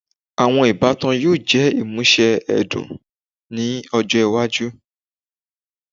Awọn ibatan yoo jẹ imuse ẹdun ni ọjọ iwaju